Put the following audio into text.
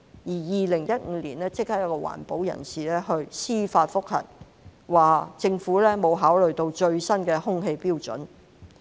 在2015年，一名環保人士提出司法覆核，指政府沒有考慮最新的空氣標準。